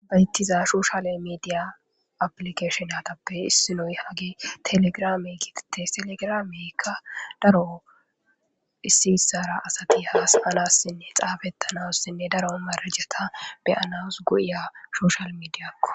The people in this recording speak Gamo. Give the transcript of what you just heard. bayttiza shuushale mediya aplikeshon atappe issinoy hagi telegramey gitete telegrameykka daro issi bissara asati haasanassinne xaafettanaussinne daro marajata beyanas guya shoushal mediyakko